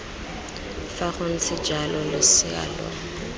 fa gontse jalo losea lo